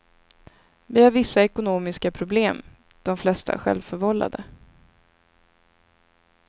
Vi har vissa ekonmiska problem, de flesta självförvållade.